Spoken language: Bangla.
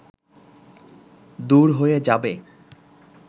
দূর হয়ে যাবে